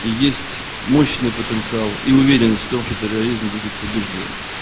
есть мощный потенциал и уверенность в том что терроризм будет побеждён